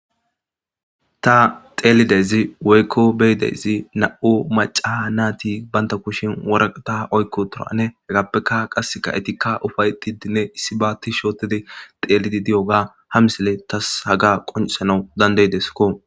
Ta xelidayssi woykko be'idayssi nam'u macca natti banta kushiyan worakta oyki uttidane hegappe qasika eetika ufa'etidinne issiba tishi oothidi xeelidi diyoga ha misiley tas haga qonccisanaw danda'idesko.